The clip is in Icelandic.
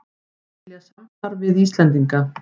Vilja samstarf við Íslendinga